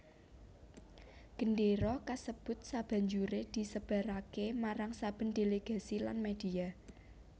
Gendéra kasebut sabanjuré disebaraké marang saben delegasi lan media